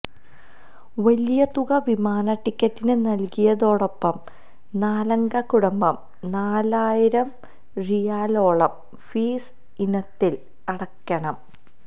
വലിയ തുക വിമാന ടിക്കറ്റിന് നല്കിയതോടൊപ്പം നാലംഗ കുടുംബം നാലായിരം റിയാലോളം ഫീസ് ഇനത്തില് അടക്കണം